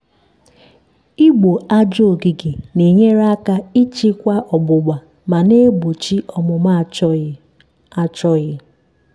igbo aja ogige na-enyere aka ịchịkwa ọgbụgba ma na-egbochi ọmụmụ achọghị. achọghị.